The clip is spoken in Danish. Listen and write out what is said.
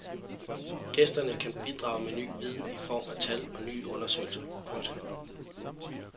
Gæsterne kan bidrage med ny viden i form af tal og nye undersøgelser. punktum